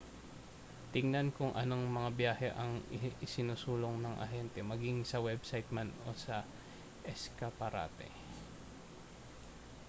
tingnan kung anong mga biyahe ang isinusulong ng ahente maging sa website man o sa eskaparate